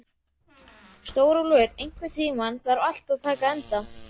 Stórólfur, einhvern tímann þarf allt að taka enda.